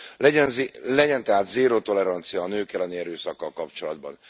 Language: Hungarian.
Legyen tehát zéró tolerancia a nők elleni erőszakkal kapcsolatban!